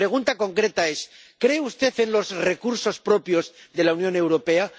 Y mi pregunta concreta es ¿Cree usted en los recursos propios de la Unión Europea?